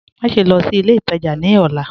Máṣẹ̀ lọ́ sí ilẹ̀ ìtajá ní ọlá